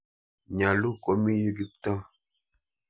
Nyalu komi yu Kiptoo .